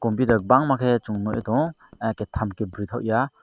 computer bangma ke song nogoi tango ah ke tam ke boroitok ya.